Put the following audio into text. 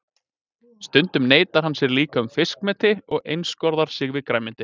Stundum neitar hann sér líka um fiskmeti og einskorðar sig við grænmeti.